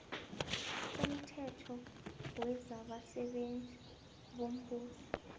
somthetho wezabasebenzi bombuso